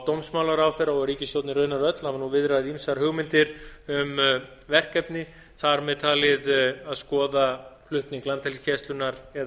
dómsmálaráðherra og ríkisstjórnin raunar öll hafa viðrað ýmsar hugmyndir um verkefni þarmeð talið að skoða flutning landhelgisgæslunnar eða